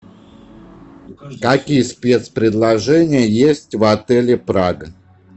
какие спец предложения есть в отеле прага